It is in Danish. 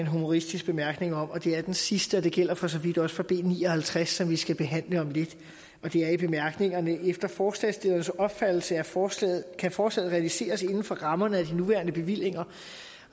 humoristisk bemærkning om og det er den sidste det gælder for så vidt også for b ni og halvtreds som vi skal behandle om lidt det er i bemærkningerne efter forslagsstillernes opfattelse kan forslaget kan forslaget realiseres inden for rammerne af de nuværende bevillinger